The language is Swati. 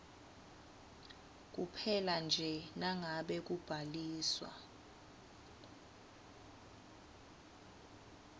kuphelanje nangabe kubhaliswa